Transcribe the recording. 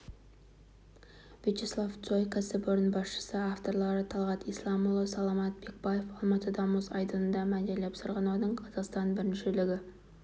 вячеслав цой кәсіпорын басшысы авторлары талғат исламұлы саламат бекбаев алматыда мұз айдынында мәнерлеп сырғанаудан қазақстан біріншілігі